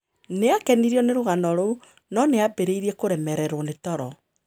Nĩ aakenirio nĩ rũgano rũu, no nĩ aambĩrĩirie kũremererwo nĩ toro.